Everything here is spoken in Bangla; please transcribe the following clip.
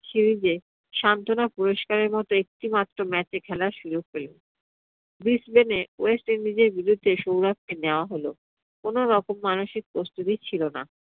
series এ সান্ত্বনা পুরস্কারের মতো একটি মাত্র match এ খেলার সুযোগ পেলেন। west indises এর বিরুদ্ধে সৌরভকে নেওয়া হল। কোনো রকম মানসিক প্রস্তুতি ছিল না।